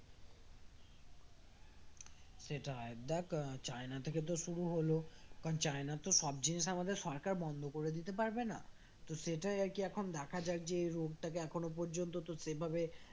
সেটাই দেখ আহ চায়না থেকে তো শুরু হলো but চায়নার তো সব জিনিস আমাদের সরকার বন্ধ করে দিতে পারবে না তো সেটাই আর কি এখন দেখা যাক যে এই রোগটাকে এখনো পর্যন্ত তো সেভাবে